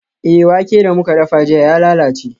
Eh, wake da muka dafa jiya ya lalace.